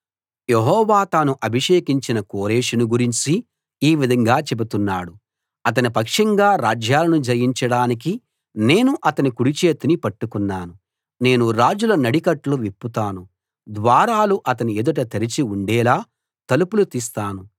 యెహోవా తాను అభిషేకించిన కోరెషును గురించి ఈ విధంగా చెబుతున్నాడు అతని పక్షంగా రాజ్యాలను జయించడానికి నేను అతని కుడిచేతిని పట్టుకున్నాను నేను రాజుల నడికట్లు విప్పుతాను ద్వారాలు అతని ఎదుట తెరచి ఉండేలా తలుపులు తీస్తాను